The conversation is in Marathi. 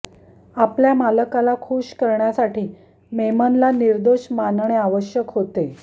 आपल्या मालकाला खुश करण्यासाठी मेमनला निर्दोष मानणे आवश्यक होते